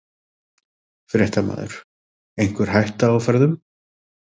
Fréttamaður: Einhver hætta á ferðum?